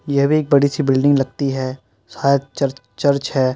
यह भी एक बड़ी सी बिल्डिंग लगती है। शायद चर्च - चर्च है।